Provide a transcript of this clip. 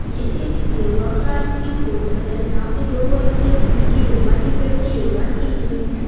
यह एक yoga class की फोटो है जहां पे दो बच्चे उनकी योगा टीचर से योगा सीख रहे हैं।